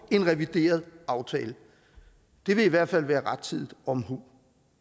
en revideret aftale det vil i hvert fald være rettidig omhu